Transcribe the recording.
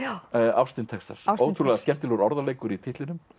ástin Texas ótrúlega skemmtilegur orðaleikur í titlinum